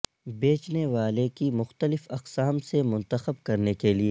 بیچنے والے کی مختلف اقسام سے منتخب کرنے کے لئے